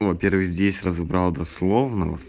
первый здесь разобрал до словно